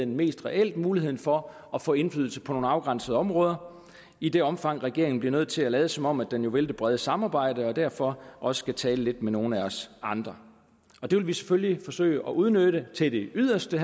mest reelt mulighed for at få indflydelse på nogle afgrænsede områder i det omfang regeringen bliver nødt til at lade som om den vil det brede samarbejde og derfor skal også tale med nogle af os andre det vil vi selvfølgelig forsøge at udnytte til det yderste